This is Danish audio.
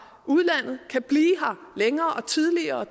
udlandet kan blive her længere og tidligere og